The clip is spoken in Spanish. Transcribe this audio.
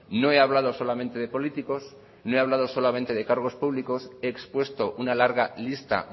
no he hablado solamente de políticos no he hablado solamente de cargos públicos he expuesto una larga lista